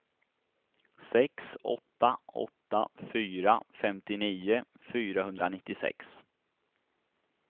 sex åtta åtta fyra femtionio fyrahundranittiosex